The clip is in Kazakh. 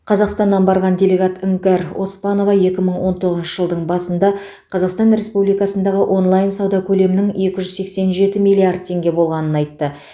қазақстаннан барған делегат іңкәр оспанова екі мың он тоғызыншы жылдың басында қазақстан республикасындағы онлайн сауда көлемінің екі жүз сексен жеті миллиард теңге болғанын айтты